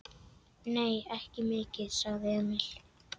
Nei, ekki mikið, sagði Emil.